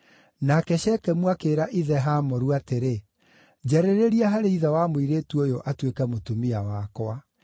Nake Shekemu akĩĩra ithe Hamoru atĩrĩ, “Njarĩrĩria harĩ ithe wa mũirĩtu ũyũ atuĩke mũtumia wakwa.”